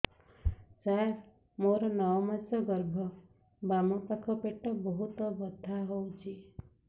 ସାର ମୋର ନଅ ମାସ ଗର୍ଭ ବାମପାଖ ପେଟ ବହୁତ ବଥା ହଉଚି